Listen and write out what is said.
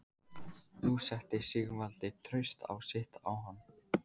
Nú setti Sigvaldi traust sitt á hann.